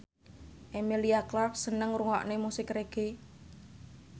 Emilia Clarke seneng ngrungokne musik reggae